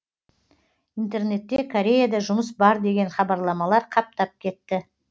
интернетте кореяда жұмыс бар деген хабарламалар қаптап кетті